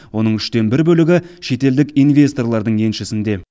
оның үштен бір бөлігі шетелдік инвесторлардың еншісінде